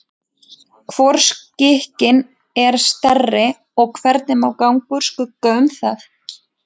Hvor skikinn er stærri og hvernig má ganga úr skugga um það?